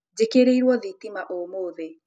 Njĩkĩrĩirwo thitima ũmũthĩ.